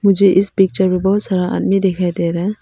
मुझे इस पिक्चर में बहुत सारा आदमी दिखाई दे रहा है।